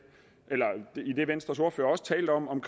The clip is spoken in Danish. venstres ordfører også talte om